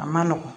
A ma nɔgɔn